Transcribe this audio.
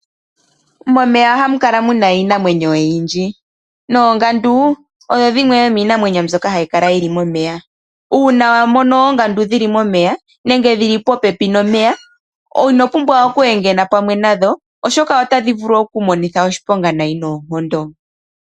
Momeya ohamu kala muna iinamwenyo oyindji, noongandu odho dhimwe dho miinamwenyo mbyoka hayi kala momeya nenge dhi li popepi nomeya, no ino pumbwa okuhedha pamwe nadho oshoka otadhi vulu okukumonitha oshiponga nayi noonkondo.